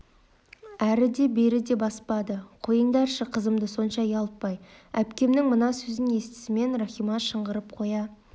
әрі де бері де баспады қойыңдаршы қызымды сонша ұялтпай әпкемнің мына сөзін естісімен рахима шыңғырып қоя